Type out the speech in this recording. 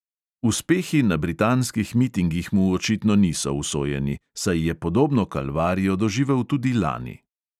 Uspehi na britanskih mitingih mu očitno niso usojeni, saj je podobno kalvarijo doživel tudi lani.